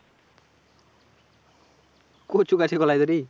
কচু গাছে গলায় দড়ি?